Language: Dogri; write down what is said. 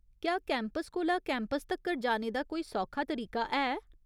क्या कैंपस कोला कैंपस तक्कर जाने दा कोई सौखा तरीका है ?